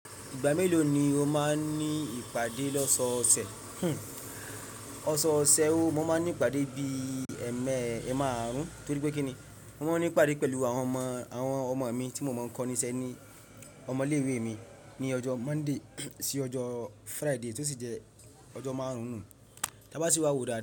Ìgbà mélòó ni o máa ń ní ìpàdé lọ́sọ́ ọ̀sẹ̀? Ọ̀sọ́ ọ̀sẹ̀ o, mo máa ń ní ìpàdé bí i ẹẹ́mẹ́ ẹẹ́ márùn-ún, torípé kí ni, mo máa ń ní ìpàdé pẹ̀lú àwọn ọmọ, àwọn ọmọ mi tí mo mọ̀ ń kọ́ni iṣẹ́ ní ọmọ ilé ìwé mi ní ọjọ́ Monday sí ọjọ́ Friday tó sì jẹ́ ọjọ́ márùn-ún nù. Tí a bá sì wá wò ó dáda.